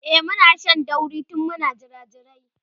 e Muna Shan dauri tun Muna jirajirai